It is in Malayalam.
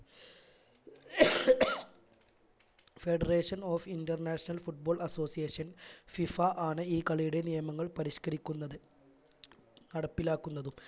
federation of international football associationFIFA ആണ് ഈ കളിയുടെ നിയമങ്ങൾ പരിഷ്കരിക്കുന്നത് നടപ്പിലാക്കുന്നതും